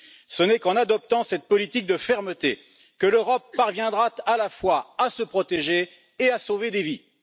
Ce n'est qu'en adoptant cette politique de fermeté que l'Europe parviendra à la fois à se protéger et à sauver des vies.